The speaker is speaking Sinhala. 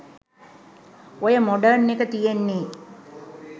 ඔය මොඩර්න් එක තියෙන්නේ